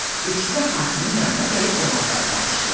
İkisi də hakimin yanına gəlib olanları danışdılar.